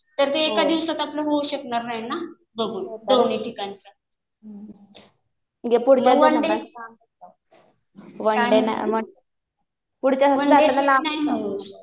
तर ते एका दिवसात आपलं होऊ शकणार नाही ना बघून दोन्ही ठिकाणी. म्हणजे पूर्ण ते. वन डे ट्रिप नाही ना होऊ शकत.